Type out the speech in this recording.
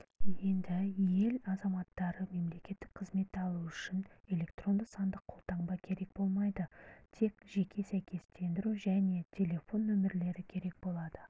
енді ел азаматтары мемлекеттік қызметті алуы үшін электронды-сандық қолтаңба керек болмай тек жеке сәйкестендіру және телефон нөмірлері керек болады